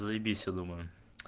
заебись я думаю